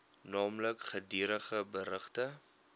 naamlik gedurige berigte